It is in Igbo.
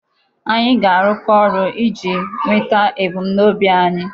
Anyị ga-arụkọ ọrụ iji nweta ebumnobi anyị.